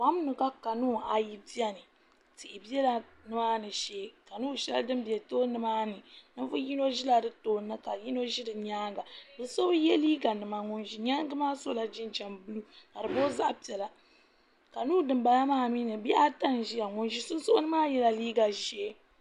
Kom ni ka kanuun ayi biɛni tihi biɛla nimaani shee kanuun din bɛ tooni maa Ninvuɣu yino ʒila di tooni ka yino ʒi di nyaanga bi so bi yɛ liiga nima ŋun ʒi nyaangi maa sola jinjɛm buluu ka di booi zaɣ piɛla kanuun dinbala maa mii ni bihi ata n ʒiya ŋun ʒi sunsuuni maa yɛla liiga ʒiɛ